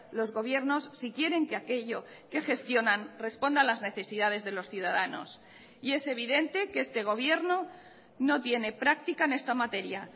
los gobiernos si quieren que aquello que gestionan responda a las necesidades de los ciudadanos y es evidente que este gobierno no tiene práctica en esta materia